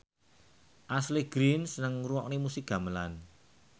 Ashley Greene seneng ngrungokne musik gamelan